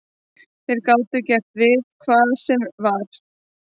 Þeir gátu gert við hvað sem var.